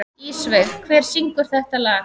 Ísveig, hver syngur þetta lag?